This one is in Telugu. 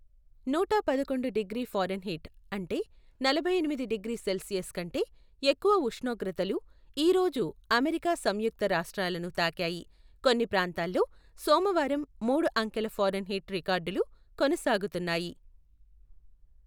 నూటపదకొండు డిగ్రీ ఫారెన్హీట్ అంటే నలభై ఎనిమిది డిగ్రీ సెల్సియస్ కంటే ఎక్కువ ఉష్ణోగ్రతలు ఈ రోజు అమెరికా సంయుక్త రాష్ట్రాలను తాకాయి, కొన్ని ప్రాంతాల్లో సోమవారం మూడు అంకెల ఫారెన్హీట్ రికార్డులు కొనసాగుతున్నాయి.